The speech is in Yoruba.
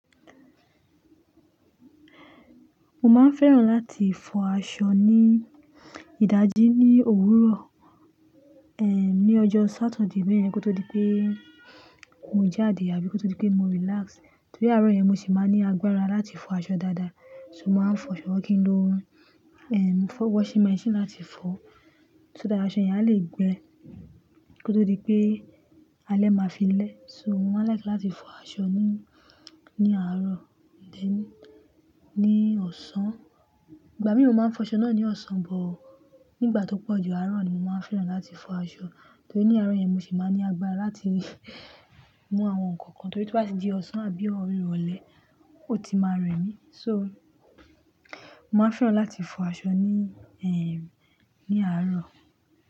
Mo máa ń fẹ́ràn láti fọ aṣọ ní ìdajì ní òwúrọ̀, ní ọjọ́ Satidé bẹ́ẹ̀ yẹn kó tó di pé mo jáde àbí kó tó di pé mo relax. Torí àárọ̀ yẹn mo sì máa ní agbára láti fọ aṣọ dáadáa. So mo máa ń fọ aṣọ kí n lo, washing machine láti fọ. So that aṣọ yẹn a lè gbẹ kó tó di pé alẹ́ máa fi lẹ́. So mo máa ń like láti fọ aṣọ ní, ní àárọ̀ then ní ọ̀sán. Ìgbà mìíràn mo máa ń fọ aṣọ náà ní ọ̀sán, but nígbà tó pọ̀ ju àárọ̀ ni mo máa ń fẹ́ràn láti fọ aṣọ. Torí ní àárọ̀ yẹn mo sì máa ní agbára láti mú àwọn nǹkan kan torí tí ọ́ bá ti di ọ̀sán àbí irọ̀lẹ ó ti máa rẹ mí. So mo máa ń fẹ́ràn láti fọ aṣọ ní, ẹm, ní àárọ̀